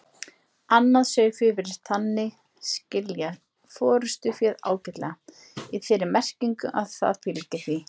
Annað sauðfé virðist þannig skilja forystuféð ágætlega, í þeirri merkingu að það fylgir því.